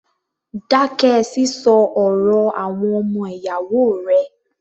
Dákẹ́ sísọ ọ̀rọ̀ àwọn ọmọ ìyáwó rẹ̀!